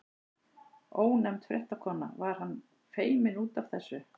Ónefnd fréttakona: Var hann feiminn út af þessu?